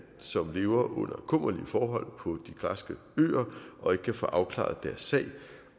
som lever under kummerlige forhold på de græske øer og ikke kan få afklaret deres sag